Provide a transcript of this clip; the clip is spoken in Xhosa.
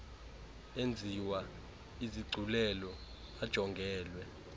enziwa izigculelo ajongelwe